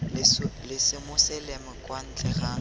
la semoseleme kwa ntle ga